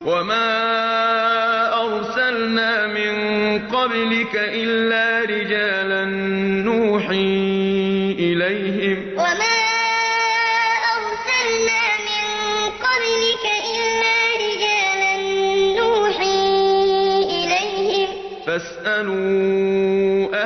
وَمَا أَرْسَلْنَا مِن قَبْلِكَ إِلَّا رِجَالًا نُّوحِي إِلَيْهِمْ ۚ فَاسْأَلُوا أَهْلَ الذِّكْرِ إِن كُنتُمْ لَا تَعْلَمُونَ وَمَا أَرْسَلْنَا مِن قَبْلِكَ إِلَّا رِجَالًا نُّوحِي إِلَيْهِمْ ۚ فَاسْأَلُوا